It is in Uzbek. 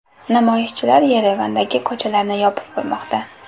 Namoyishchilar Yerevandagi ko‘chalarni yopib qo‘ymoqda.